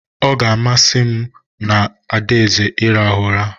Ọ ga-amasị m mụ na adaeze irahu ụra